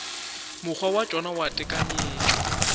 mokgwa wa tšona wa tekanyetšo